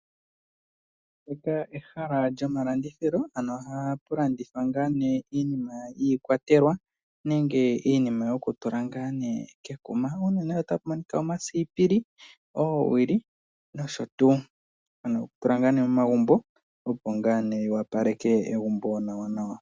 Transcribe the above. Ndika ehala lyomalandithilo, ano ohamu landithwa nduno iikwatelwa, nenge iinima yoku nateka kekuma. Otapu monika omasipili, oowili nosho tuu. Ano okutula momagumbo opo egumbo likale lyo opala nawa.